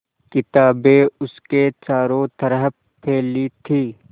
किताबें उसके चारों तरफ़ फैली थीं